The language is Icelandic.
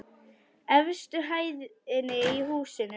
Efstu hæðinni í húsinu.